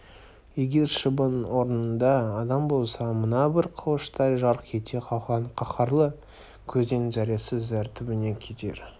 егер шыбын орнында адам болса мына бір алмас қылыштай жарқ ете қалған қаһарлы көзден зәресі зәр түбіне кетер